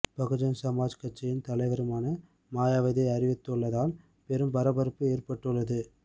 பகுஜன் சமாஜ் கட்சியின் தலைவருமான மாயாவதி அறிவித்துள்ளதால் பெரும் பரபரப்பு ஏற்பட்டுள்ளது